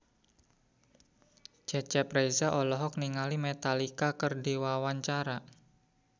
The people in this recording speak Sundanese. Cecep Reza olohok ningali Metallica keur diwawancara